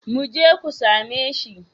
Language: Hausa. Mu je ku same shi.